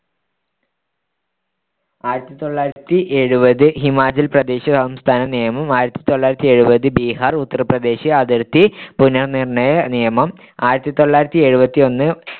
ആയിരത്തിതൊള്ളായിരത്തിയെഴുപത് ഹിമാചൽ പ്രദേശ് സംസ്ഥാന നിയമം ആയിരത്തിതൊള്ളായിരത്തിയെഴുപത് ബിഹാർ ഉത്തർപ്രദേശ് അതിർത്തി പുനർനിർ‌ണ്ണയ നിയമം ആയിരത്തിതൊള്ളായിരത്തിയെഴുപത്തിയൊന്ന്